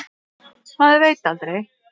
Maður veit aldrei.